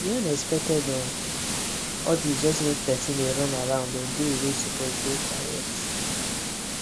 the unexpected um audit just make person dey run around on day wey suppose dey quiet